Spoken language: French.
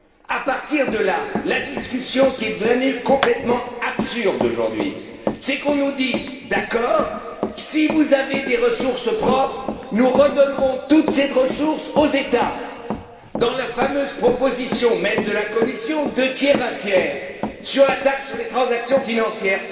C'est à partir de là que la discussion est devenue complètement absurde aujourd'hui, car on nous dit D'accord, si vous avez des ressources propres, nous redonnerons toutes ces ressources aux États, et cela dans la fameuse proposition même de la Commission deux tiers un tiers sur la taxe sur les transactions financières.